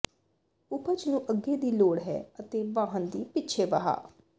ਉਪਜ ਨੂੰ ਅੱਗੇ ਦੀ ਲੋੜ ਹੈ ਅਤੇ ਵਾਹਨ ਦੀ ਪਿੱਛੇ ਵਹਾਅ